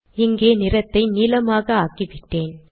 இங்கே நிறத்தை நீலமாக ஆக்கிவிட்டேன்